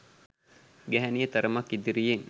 ගැහැණිය තරමක් ඉදිරියෙන්